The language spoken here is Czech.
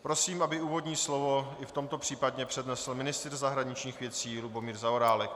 Prosím, aby úvodní slovo i v tomto případě přednesl ministr zahraničních věcí Lubomír Zaorálek.